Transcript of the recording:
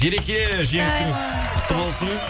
ереке жеңісіңіз құтты болсын